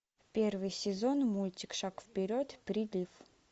первый сезон мультик шаг вперед прилив